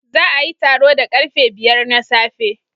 Za a yi taro da karfe biyar na safe